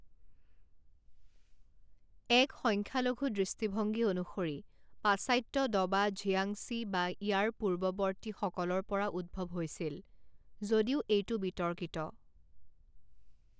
এক সংখ্যালঘু দৃষ্টিভংগী অনুসৰি পাশ্চাত্য দবা ঝিয়াংছি বা ইয়াৰ পূৰ্বৱৰ্তী সকলৰ পৰা উদ্ভৱ হৈছিল, যদিও এইটো বিতৰ্কিত।